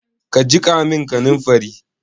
Ka jiƙa min kaninfari?